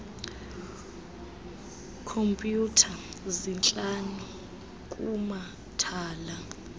khompyutha zintlanu kumathala